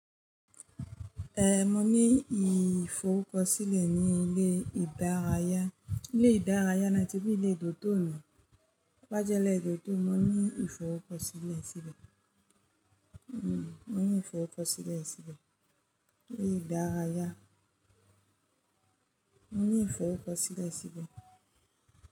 Eh, mo ní ìforukosílẹ̀ ní ilé ìdárayá. Ilé ìdárayá ni a ti rí ilé dòtò ní. Lájẹ ilé dòtò, mo ní ìforukosilẹ̀ síbẹ̀. Hmm, mo ní ìforukosilẹ̀ síbẹ̀. Ilé ìdárayá. Mo ní ìforukosilẹ̀ síbẹ̀